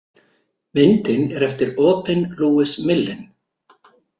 Myndin er eftir Aubin Louis Millin.